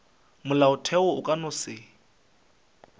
molaotheo o ka no se